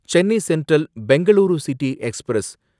Chennai central Bengaluru city express